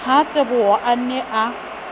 ha teboho a ne a